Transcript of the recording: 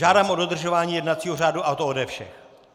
Žádám o dodržování jednacího řádu, a to ode všech.